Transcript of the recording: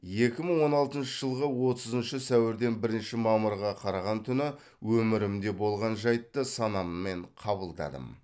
екі мың он алтыншы жылғы отызыншы сәуірден бірінші мамырға қараған түні өмірімде болған жайтты санаммен қабылдадым